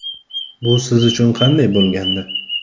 Bu siz uchun qanday bo‘lgandi?